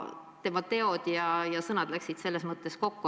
Tema teod ja sõnad läksid kokku.